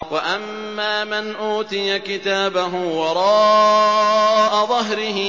وَأَمَّا مَنْ أُوتِيَ كِتَابَهُ وَرَاءَ ظَهْرِهِ